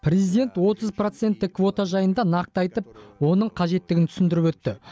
президент отыз проценттік квота жайында нақты айтып оның қажеттігін түсіндіріп өтті